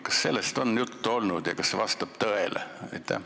Kas sellest on juttu olnud ja kas see vastab tõele?